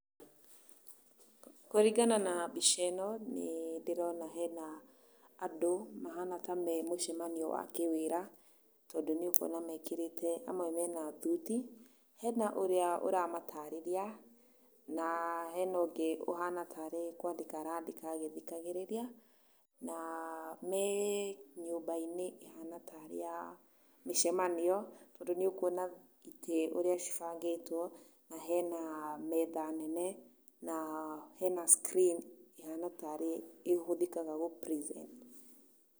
Kũringana na mbica ĩno nĩ ndĩrona hena andũ mahana ta memũcemanio wa kĩwĩra, tũndũ nĩ ũkuona mekerete, amwe mena thũti, hena ũrĩa ũramatareria, na hena ũngĩ ũhana taarĩ kwandĩka arandĩka agĩthikagĩrĩria na me nyũmba-inĩ ĩhana taarĩ ya mĩcemanio, tondũ nĩũkuona ĩte ũrĩa cibangĩtwo, na hena metha nene, na hena screen ĩhana taarĩ ihũthekaga gũ present.